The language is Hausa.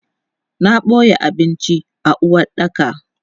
Na boye abinci a uwaɗɗaka.